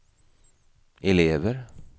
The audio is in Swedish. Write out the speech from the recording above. elever